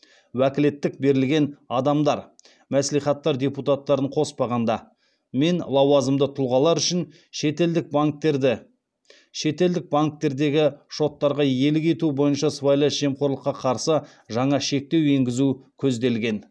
уәкілеттік берілген адамдар мен лауазымды тұлғалар үшін шетелдік банктердегі шоттарға иелік етуі бойынша сыбайлас жемқорлыққа қарсы жаңа шектеу енгізу көзделген